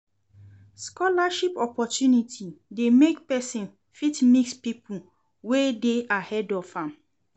Scholarship opportunity de make persin fit mix pipo wey de ahead of am